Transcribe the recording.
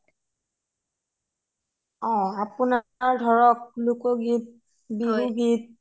অ আপুনাৰ ধৰক লুকগীত বিহু গীত